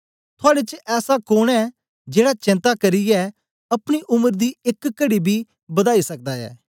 थुआड़े च ऐसा कोन ऐ जेड़ा चेन्ता करियै अपनी उम्र दी एक कड़ी बी बदाई सकदा ऐ